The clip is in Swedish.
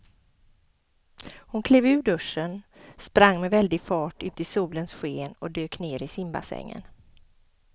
Hon klev ur duschen, sprang med väldig fart ut i solens sken och dök ner i simbassängen.